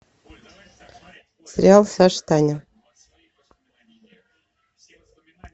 сериал саша таня